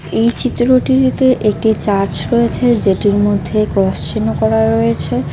এই চিত্রটিরতে একটি চার্চ রয়েছে যেটির মধ্যে ক্রস চিহ্ন করা রয়েছে।